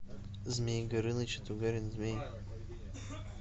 змей горыныч и тугарин змей